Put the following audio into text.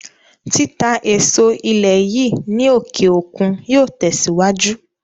Títà èso ilé yìí ní òkè òkun yóò tẹ̀sìwájú